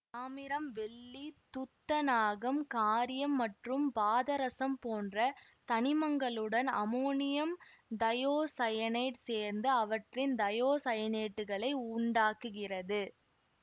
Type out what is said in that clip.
தாமிரம் வெள்ளி துத்தநாகம் காரீயம் மற்றும் பாதரசம் போன்ற தனிமங்களுடன் அமோனியம் தையோசயனேட்டு சேர்ந்து அவற்றின் தையோசயனேட்டுகளை உண்டாக்குகிறது